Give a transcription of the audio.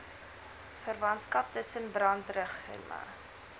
verwantskap tussen brandregime